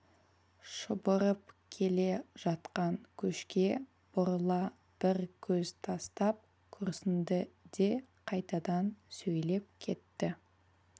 шұбырып келе жатқан көшке бұрыла бір көз тастап күрсінді де қайтадан сөйлеп кетті